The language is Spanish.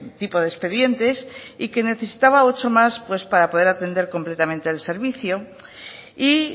tipo de expedientes y que necesitaba ocho más para poder atender completamente el servicio y